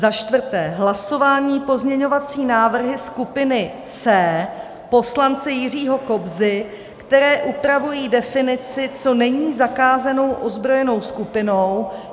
Za čtvrté, hlasování, pozměňovací návrhy skupiny C poslance Jiřího Kobzy, které upravují definici, co není zakázanou ozbrojenou skupinou.